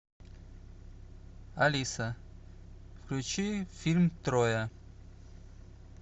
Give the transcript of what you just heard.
алиса включи фильм троя